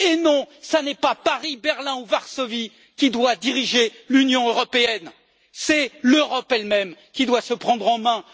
Non, ça n'est pas Paris, Berlin ou Varsovie qui doit diriger l'Union européenne, c'est l'Europe elle même qui doit se prendre en main.